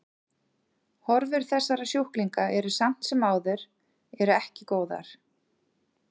Horfur þessara sjúklinga eru samt sem áður eru ekki góðar.